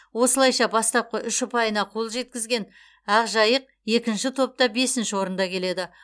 осылайша бастапқы үш ұпайына қол жеткізген ақжайық екінші топта бесінші орында келеді